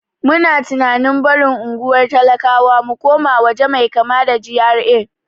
Muna tunanin barin unguwar talakawa mu koma waje mai kama da GRA.